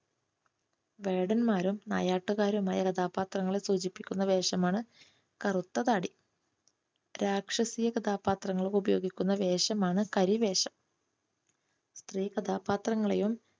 വേടന്മാരും നായാട്ടുകാരും ആയ കഥാപാത്രങ്ങളെ സൂചിപ്പിക്കുന്ന വേഷമാണ് കറുത്ത താടി. രാക്ഷസീയ കഥാപാത്രങ്ങൾക്ക് ഉപയോഗിക്കുന്ന വേഷമാണ് കരി വേഷം. സ്ത്രീ കഥാപാത്രങ്ങളെയും